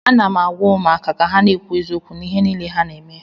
Ana m agwa ụmụaka ka ha na-ekwu eziokwu n'ihe niile ha na-eme